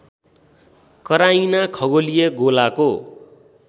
कराइना खगोलीय गोलाको